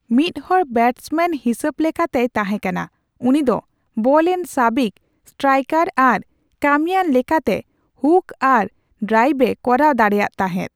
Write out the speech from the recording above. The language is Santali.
ᱢᱤᱫ ᱦᱚᱲ ᱵᱮᱴᱥᱢᱮᱱ ᱦᱤᱥᱟᱹᱵ ᱞᱮᱠᱟᱛᱮᱭ ᱛᱟᱦᱮᱸᱠᱟᱱᱟ ᱩᱱᱤ ᱫᱚ ᱵᱚᱞᱨᱮᱱ ᱥᱟᱹᱵᱤᱠ ᱥᱴᱟᱭᱠᱟᱨ ᱟᱨ ᱠᱟᱹᱢᱤᱭᱟᱱ ᱞᱮᱠᱟᱛᱮ ᱦᱩᱠ ᱟᱨ ᱰᱨᱟᱭᱮᱵᱷ ᱮ ᱠᱚᱨᱟᱣ ᱫᱟᱲᱮᱭᱟᱜ ᱛᱟᱦᱮᱸᱫ ᱾